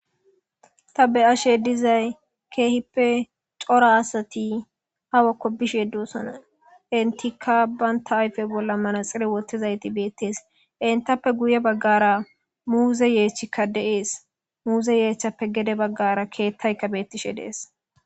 ta be ashe dizay keehippe cora asati hawakko bish yeddosona intika banta ayfe bolla manaxire wottizayti beettees intappe guye baggara muuze yeechchikka deees muuze yeechchappe gede baggara keettayka beettishe deees